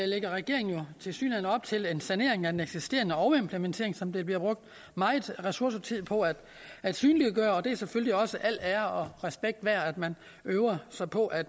lægger regeringen tilsyneladende op til en sanering af den eksisterende overimplementering som der bliver brugt meget ressourcetid på at at synliggøre og det er selvfølgelig også al ære og respekt værd at man øver sig på at